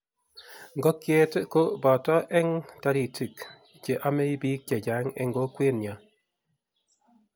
ngokie ko boto eng' toritik che omei biik chechang' eng' kokwenyo.